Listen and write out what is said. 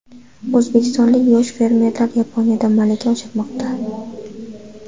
O‘zbekistonlik yosh fermerlar Yaponiyada malaka oshirmoqda.